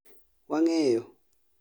Wang'eyo